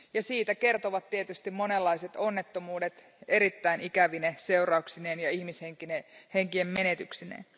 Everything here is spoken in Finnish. Siitä kertovat tietysti monenlaiset onnettomuudet erittäin ikävine seurauksineen ja ihmishenkien menetyksineen.